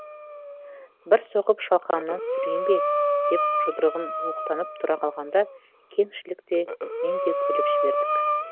бір соғып шалқаңнан түсірейін бе деп жұдырығын оқтанып тұра қалғанда кеңшілік те мен де күліп жібердік